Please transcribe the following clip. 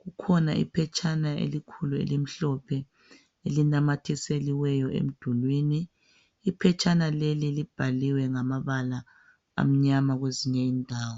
kukhona iphethana elikhulu elimhlophe elinamathiseliweyo emdulwini iphethana leli libhaliwe ngamabala amnyama kwezinye indawo.